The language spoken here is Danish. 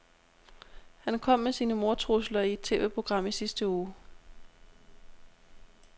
Han kom med sine mordtrusler i et TVprogram i sidste uge.